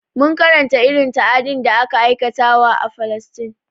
Mun karanta irin ta'adin da ake aikatawa a falastine